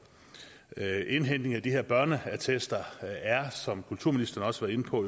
indhentning af de her børneattester er som kulturministeren også var inde på